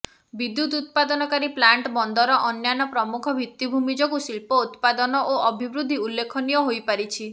ବିଦ୍ୟୁତ୍ ଉତ୍ପାଦନକାରୀ ପ୍ଲାଣ୍ଟ ବନ୍ଦର ଅନ୍ୟାନ୍ୟ ପ୍ରମୁଖ ଭିତ୍ତିଭୂମି ଯୋଗୁଁ ଶିଳ୍ପ ଉତ୍ପାଦନ ଓ ଅଭିବୃଦ୍ଧି ଉଲ୍ଲେଖନୀୟ ହୋଇପାରିଛି